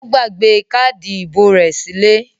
Ó gbàgbé káádì ìbò rẹ̀ sílé?